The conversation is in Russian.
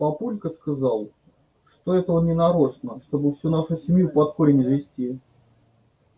папулька сказал что это он нарочно чтобы всю нашу семью под корень извести